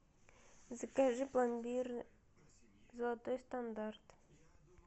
закажи пломбир золотой стандарт